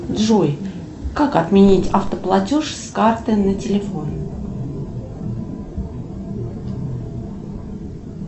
джой как отменить автоплатеж с карты на телефон